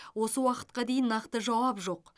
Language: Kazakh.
осы уақытқа дейін нақты жауап жоқ